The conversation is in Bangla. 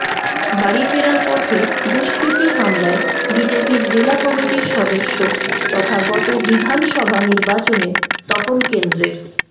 বাড়ি ফেরার পথে দুষ্কৃতী হামলায় বিজেপির জেলা কমিটির সদস্য তথা গত বিধানসভা নির্বাচনে তপন কেন্দ্রের